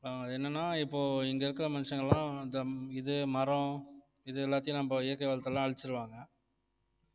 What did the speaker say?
ஆஹ் என்னன்னா இப்போ இங்கே இருக்கிற மனுஷங்க எல்லாம் இந்த இது மரம் இது எல்லாத்தையும் நம்ம இயற்கை வளத்தை எல்லாம் அழிச்சிருவாங்க